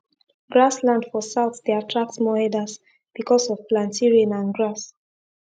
grass land for south dey attract more herders because of planty rain and grass